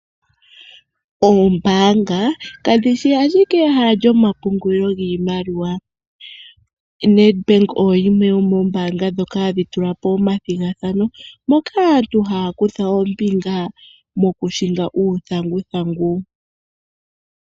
Oombaanga kadhi shi ashike ehala lyomapungulilo giimaliwa Nedbank oyimwe yomoombaanga dhoka hadhi tula po omathigathano moka aantu haa kutha ombinga mokuhinga uuthanguthangu.